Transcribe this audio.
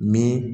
Ni